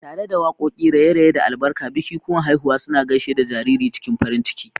Tare da waƙoƙi, raye-raye, da albarka, bikikuwan haihuwa suna gaishe da jariri cikin farin ciki.